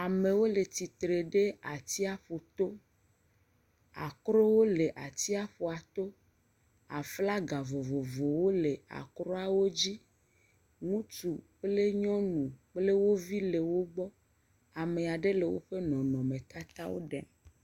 Amewo le tsitre ɖe atsiƒu to akrowo le atsiaƒua to aflaga vovovowo le akroa dzi ŋutsu kple nyɔnu kple wo vi le wo gbɔ, ame aɖe le woƒo nɔnɔmetatawo ɖem.